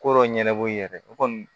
Ko dɔ ɲɛnabɔ i yɛrɛ o kɔni